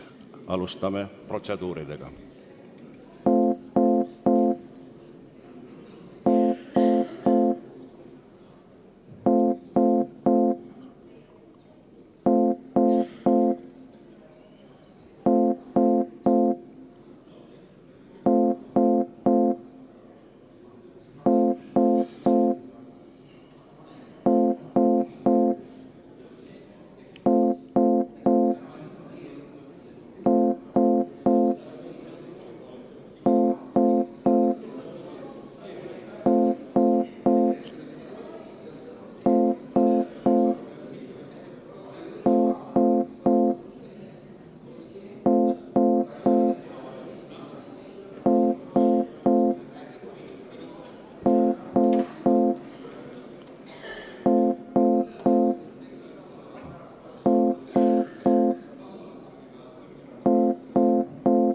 Alustame protseduuri.